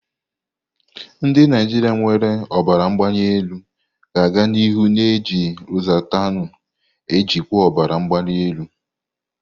Ndị Naijiria nwere ọbara mgbali elu ga-aga n'ihu na-eji lozatanu ejikwa ọbara mgbali elu.